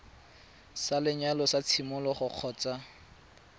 sa lenyalo sa tshimologo kgotsa